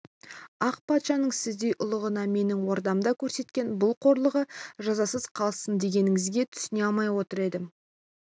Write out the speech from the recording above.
ақ патшаның сіздей ұлығына менің ордамда көрсеткен бұл қорлығы жазасыз қалсын дегеніңізге түсіне алмай отыр едім